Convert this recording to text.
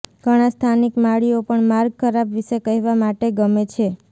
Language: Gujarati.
ઘણા સ્થાનિક માળીઓ પણ માર્ગ ખરાબ વિશે કહેવા માટે ગમે છે